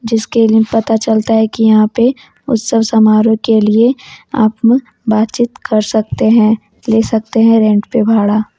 जिसके लिए पता चलता है कि यहां पे उत्सव समारोह के लिए आप बातचीत कर सकते हैं ले सकते हैं रेंट पे भाड़ा --